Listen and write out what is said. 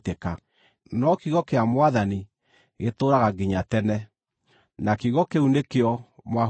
no kiugo kĩa Mwathani gĩtũũraga nginya tene.” Na kiugo kĩu nĩkĩo mwahunjĩirio.